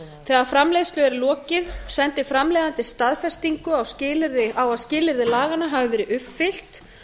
þegar framleiðslu er lokið sendir framleiðandi staðfestingu á að skilyrði laganna hafi verið uppfyllt